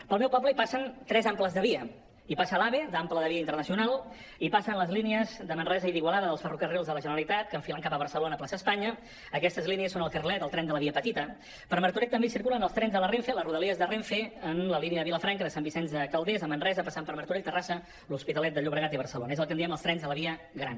pel meu poble hi passen tres amples de via hi passa l’ave d’ample de via internacional hi passen les línies de manresa i d’igualada dels ferrocarrils de la generalitat que enfilen cap a barcelona plaça espanya aquestes línies són el carrilet el tren de la via petita per martorell també hi circulen els trens de la renfe les rodalies de renfe en la línia de vilafranca de sant vicenç de calders a manresa passant per martorell terrassa l’hospitalet de llobregat i barcelona és el que en diem els trens de la via gran